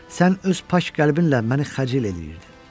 Sən öz pak qəlbinlə məni xəcil eləyirdin.